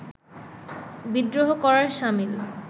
বিদ্রোহ করার সামিল